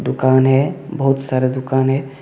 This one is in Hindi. दुकान है बहुत सारा दुकान है।